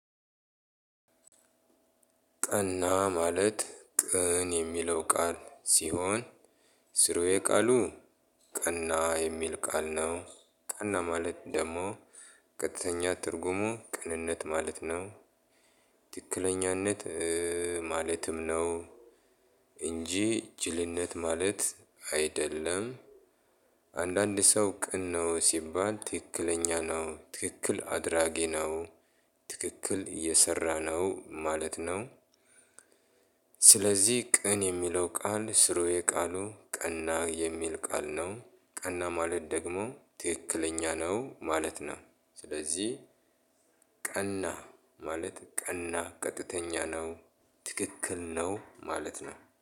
ቀና ማለት ቅን የሚለው ቃል ሲሆን ስሩዬ ቃሉ ቀና የሚል ቃል ነው። ቀና ማለት ደግሞ ቀጥተኛ ትርጉሙ ቅንነት ማለት ነው። ትክክለኛነት ማለትም ነው። እንጂ ጅልነት ማለት አይደለም። አንዳንድ ሰው ቅን ነው ሲባል ትክክለኛ ነው ትክክል አድራጊ ነው ትክክል እየሰራ ነው ማለት ነው። ስለዚህ ቀን የሚለው ቃል ስሩ የቃሉ ቀና የሚል ቃል ነው ቀና ማለት ደግሞ ትክክለኛ ነው ማለት ነው። ስለዚህ ቀና ማለት ቀና ቀጥተኛ ነው ትክክል ነው ማለት ነው